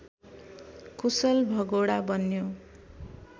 कुशल भगोडा बन्यो